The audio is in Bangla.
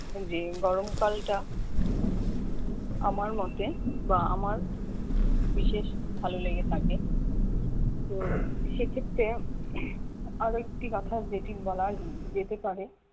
যে গরমকালটা আমার মতে বা আমার বিশেষ ভালো লেগে থাকে তো সেক্ষেত্রে আরেকটি কথা যেটি বলা যেতে পারে